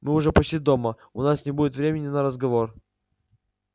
мы уже почти дома у нас не будет времени на разговор